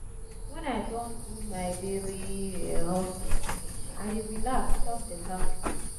wen i don do my daily hustle finish i dey relax chop beta food.